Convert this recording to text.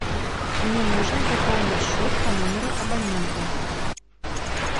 мне нужно пополнить счет по номеру абонента